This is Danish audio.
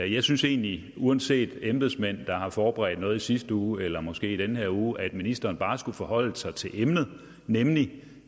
jeg synes egentlig uanset embedsmænd der har forberedt noget i sidste uge eller måske i den her uge at ministeren bare skulle forholde sig til emnet nemlig